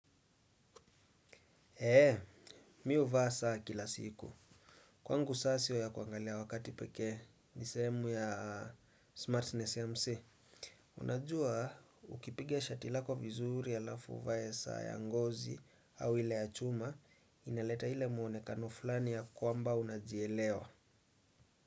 Eee, mi huvaa saa kila siku. Kwangu saa sio ya kuangalia wakati pekee ni sehemu ya Smartness MC. Unajua, ukipiga shati lako vizuri ya alafu uvae saa ya ngozi au ile ya chuma, inaleta ile muonekano fulani ya kwamba unajielewa.